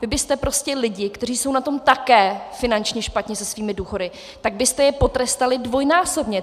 Vy byste prostě lidi, kteří jsou na tom také finančně špatně se svými důchody, tak byste je potrestali dvojnásobně.